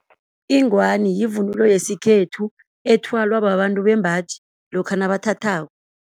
Ingwani yivunulo yesikhethu ethwalwa babantu bembaji lokha nabathathako.